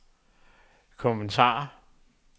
kommentar